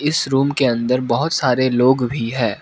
इस रूम के अंदर बहुत सारे लोग भी है।